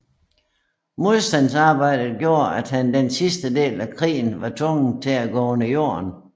Modstandsarbejdet gjorde at han den sidste del af krigen var tvungen at gå under jorden